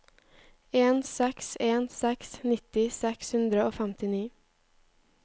en seks en seks nitti seks hundre og femtini